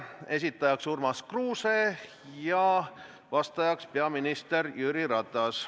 Esitab selle Urmas Kruuse, vastab peaminister Jüri Ratas.